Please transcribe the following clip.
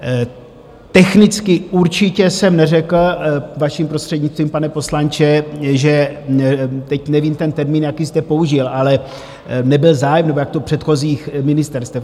Technicky určitě jsem neřekl, vaším prostřednictvím, pane poslanče, že teď nevím ten termín, jaký jste použil, ale nebyl zájem nebo jak to... předchozích ministerstev.